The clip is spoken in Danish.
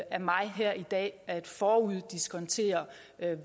af mig her i dag at foruddiskontere